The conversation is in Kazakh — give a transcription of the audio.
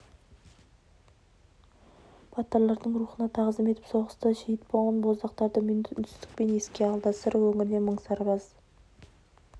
батырлардың рухына тағзым етіп соғыста шейіт болған боздақтарды минут үнсіздікпен еске алды сыр өңірінен мың сарбаз